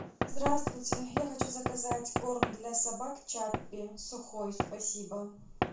здравствуйте я хочу заказать корм для собак чаппи сухой спасибо